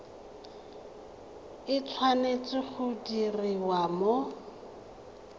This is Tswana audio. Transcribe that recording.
e tshwanetse go diriwa mo